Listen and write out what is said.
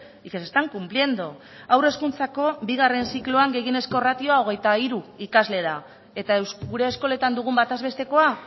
y que se están cumpliendo haur hezkuntzako bigarren zikloan gehienezko ratioa hogeita hiru ikasle da eta gure eskoletan dugun bataz bestekoa